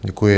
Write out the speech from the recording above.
Děkuji.